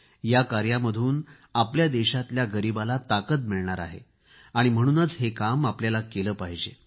या कार्यामधून आपल्या देशातल्या गरीबाला ताकद मिळणार आहे आणि म्हणूनच हे काम आपल्याला केले पाहिजे